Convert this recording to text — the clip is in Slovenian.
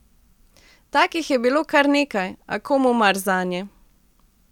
Takih je bilo kar nekaj, a komu mar zanje?